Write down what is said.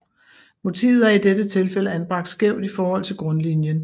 Motivet er i dette tilfælde anbragt skævt i forhold til grundlinien